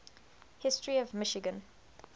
history of michigan